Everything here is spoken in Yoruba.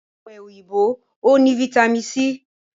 Ọ̀pẹ òyìnbó o ní vitami c.